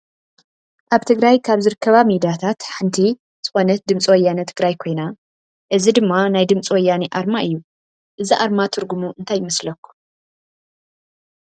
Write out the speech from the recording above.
ኣብ ትግራይ ካብ ዝርከባ ሚዳታት ሓንቲ ዝኮነት ድምፂ ወያኔ ትግራይ ኮይና፣ እዚ ድማ ናይ ድምፂ ወያኔ ኣርማ እዩ። እዚ ኣርማ ትርጉሙ እንታይ ይመስለኩም?